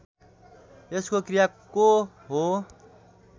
यसको क्रियाको हो